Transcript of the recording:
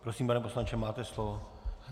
Prosím, pane poslanče, máte slovo.